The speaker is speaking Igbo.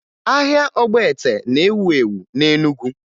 Ahịa ọgbete na-ewu ewu na Enugu